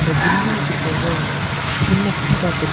பில்டிங்க்கு போக சின்ன ஃபுட்பாத் இருக்கு.